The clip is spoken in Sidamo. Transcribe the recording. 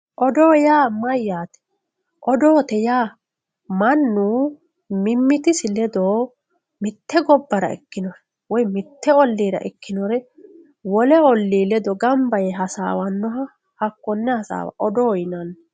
odoo yaa mayaate odoote yaa mannu mimitisi ledo mitte gabbara ikkinoha woy mitte ollira ikkinore wole olli ledo gamba yee hasaawanoha konne hasaawa odoo yinanni